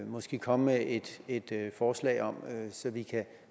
måske komme med et forslag om så vi kan